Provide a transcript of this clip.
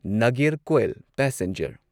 Nagercoil passenger